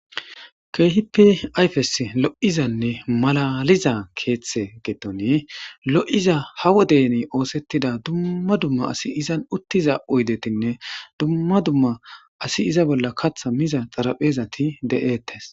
keehipi ayfes lo7izanne malaliza keeththe geettone lo7iza hawo deni oosettida dumma dumma asi izan uttiza oydetinne dumma dumma asi iza bolla katha miza xarapheezati de7eettes